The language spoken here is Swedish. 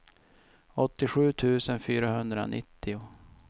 åttiosju tusen fyrahundranittio